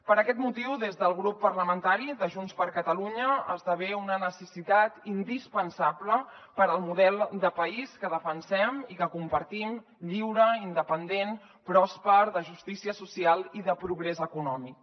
per aquest motiu des del grup parlamentari de junts per catalunya esdevé una necessitat indispensable per al model de país que defensem i que compartim lliure independent pròsper de justícia social i de progrés econòmic